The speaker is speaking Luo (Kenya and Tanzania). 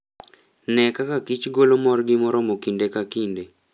Ne kaka kich golo morgi moromo kinde kakinde.